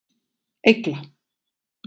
Egla